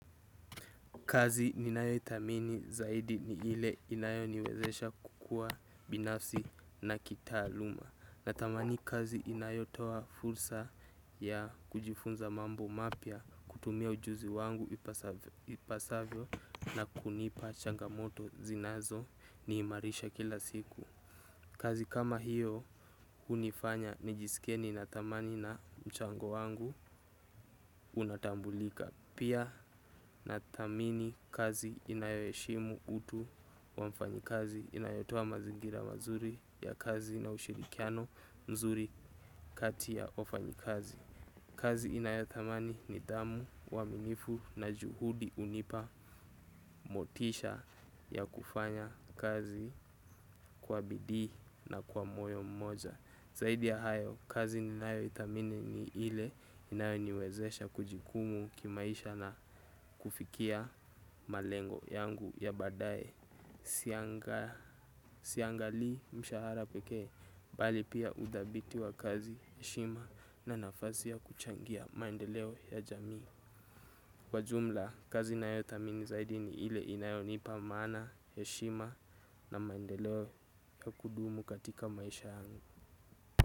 Kazi ninayo ithamini zaidi ni ile inayo niwezesha kukua binafsi na kitaaluma. Natamani kazi inayo toa fursa ya kujifunza mambo mapya kutumia ujuzi wangu ipasavyo na kunipa changamoto zinazo niimarisha kila siku. Kazi kama hiyo unifanya nijisikie nina thamani na mchango wangu unatambulika. Pia nathamini kazi inayoheshimu utu wa mfanyi kazi inayotoa mazingira mazuri ya kazi na ushirikiano mzuri kati ya wafanyi kazi. Kazi inayothamani nidhamu uwaminifu na juhudi unipa motisha ya kufanya kazi kwa bidii na kwa moyo mmoja. Zaidi ya hayo kazi ninayo ithamini ni ile inayo niwezesha kujikumu kimaisha na kufikia malengo yangu ya baadae. Siangali mshahara pekee bali pia udhabiti wa kazi heshima na nafasi ya kuchangia maendeleo ya jamii. Kwa jumla kazi nayo thamini zaidi ni ile inayo nipa maana heshima na maendeleo ya kudumu katika maisha yangu.